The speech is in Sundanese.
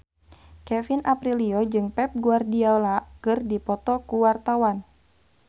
Kevin Aprilio jeung Pep Guardiola keur dipoto ku wartawan